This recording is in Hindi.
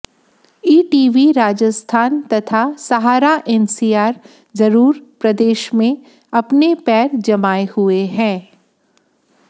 ईटीवी राजस्थान तथा सहारा एनसीआर जरूर प्रदेश में अपने पैर जमाए हुए हैं